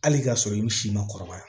Hali ka sɔrɔ i bi si ma kɔrɔbaya